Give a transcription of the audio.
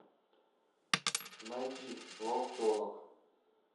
найди волчонок